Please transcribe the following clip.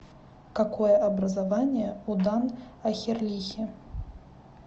какое образование у дан охерлихи